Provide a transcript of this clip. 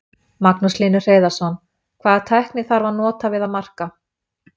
Magnús Hlynur Hreiðarsson: Hvaða tækni þarf að nota við að marka?